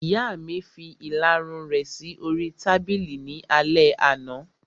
Ìyá mi fi ìlarun rẹ̀ sí oríi tábìlì ní alẹ́ àná